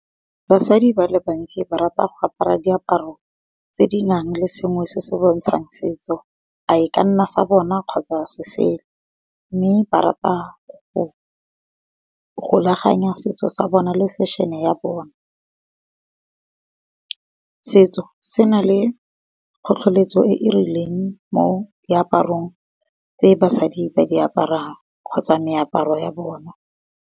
Basadi ba le bantsi ba rata go apara diaparo tse di nang le sengwe se se bontshang setso. A e ka nna sa bona kgotsa mme ba rata go golaganya setso se bona le fešhene ya bona. Setso se na le tlhotlheletso e e rileng mo diaparong tse basadi ba aparang kgotsa moaparo ya bona.